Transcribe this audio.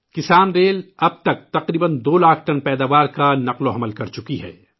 کسان ریل اب تک تقریبا 2 لاکھ ٹن پیداوار کا نقل و حمل کر چکی ہے